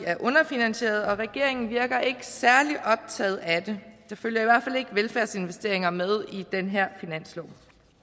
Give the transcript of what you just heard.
er underfinansierede og regeringen virker ikke særlig optaget af det der følger i hvert fald ikke velfærdsinvesteringer med i den her finanslov